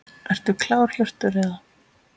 Ertu klár Hjörtur eða?